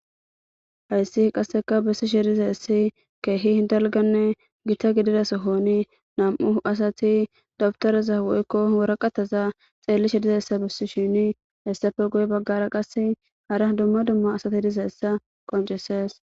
hayssi qasseka bessi shedizayssi keehi hidalganne gita gidida sohoni nam7u asati dabtoraza woykko waraqataza xeelli shedizayssa bissi shini hessafe goy baggara qas hara dumma dumma asati disaessa qonchesees